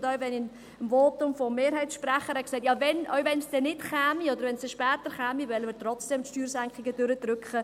Und wie im Votum des Mehrheitssprechers gesagt wurde: «Ja, auch wenn es dann nicht käme oder wenn es später käme, wollen wir dann trotzdem Steuersenkungen durchdrücken.